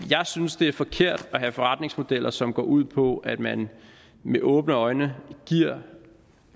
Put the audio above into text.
synes det er forkert at have forretningsmodeller som går ud på at man med åbne øjne giver